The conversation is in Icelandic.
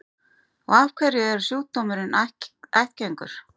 Og af hverju er sjúkdómurinn ættgengur?